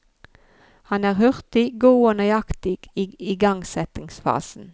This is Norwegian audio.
Han er hurtig, god og nøyaktig i igangsettingsfasen.